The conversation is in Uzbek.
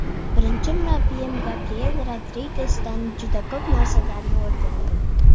Birinchi murabbiyim Gabriyel Rodrigesdan juda ko‘p narsalarni o‘rgandim.